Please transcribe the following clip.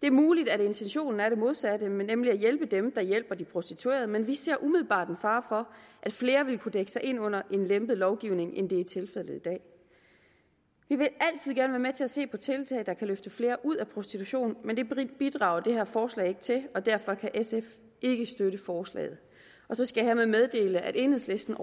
det er muligt at intentionen er den modsatte nemlig at hjælpe dem der hjælper de prostituerede men vi ser umiddelbart en fare for at flere vil kunne dække sig ind under en lempet lovgivning end det er tilfældet i dag vi vil altid gerne være med til at se på tiltag der kan løfte flere ud af prostitution men det bidrager det her forslag ikke til og derfor kan sf ikke støtte forslaget og så skal jeg meddele at enhedslisten